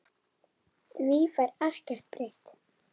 Því fær ekkert breytt.